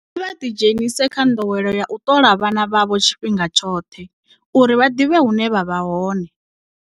Kha vha ḓidzhenise kha nḓowelo ya u ṱola vhana vhavho tshifhinga tshoṱhe, uri vha ḓivhe hune vha vha hone.